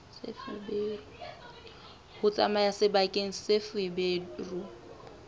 ho tsamaya sebakeng seo feberu